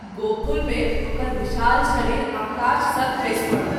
गोकुल मे ओकर विशाल शरीर आकाश सँ खसि परल।